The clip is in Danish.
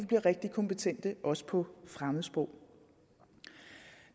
bliver rigtig kompetente også på fremmedsprog